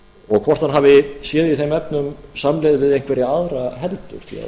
og hvort hann hafi séð í þeim efnum samleið við einhverja aðra heldur